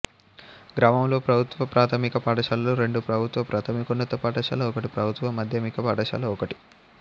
గ్రామంలో ప్రభుత్వ ప్రాథమిక పాఠశాలలు రెండు ప్రభుత్వ ప్రాథమికోన్నత పాఠశాల ఒకటి ప్రభుత్వ మాధ్యమిక పాఠశాల ఒకటి